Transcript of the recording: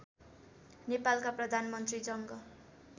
नेपालका प्रधानमन्त्री जङ्ग